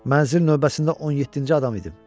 Mənzil növbəsində 17-ci adam idim.